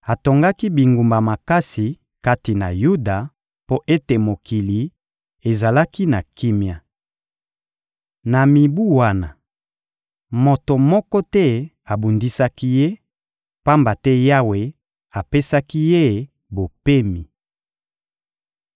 Atongaki bingumba makasi kati na Yuda mpo ete mokili ezalaki na kimia. Na mibu wana, moto moko te abundisaki ye, pamba te Yawe apesaki ye bopemi.